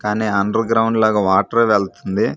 కాని underground లాగా వాటరే వెల్తుంది.